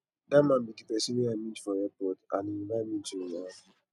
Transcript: dat man be the person wey i meet for airport and he invite me to im house